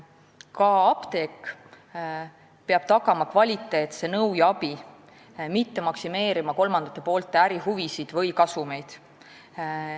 Ka apteek peab tagama kvaliteetse nõu ja abi, mitte maksimeerima kolmandate poolte ärihuvisid või kasumeid.